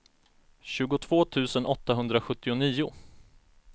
tjugotvå tusen åttahundrasjuttionio